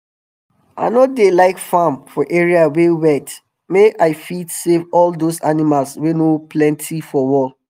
i no dey like farm for area wey wet make i fit save all those animals wey no plenty for world